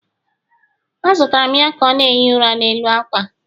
A zutere m ya ka ọ na-ehi ụra n'elu ákwà